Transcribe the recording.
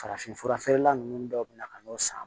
Farafinfura feerela ninnu dɔw bɛ na ka n'o san